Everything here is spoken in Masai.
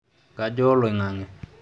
kajaa oloing'ang'e